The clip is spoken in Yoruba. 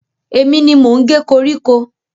Èmi ni mò ń ge koríko.